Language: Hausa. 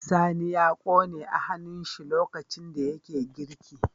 Sani ya kone a hannun shi lokacin da yake girki